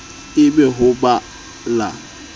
e be ho ba la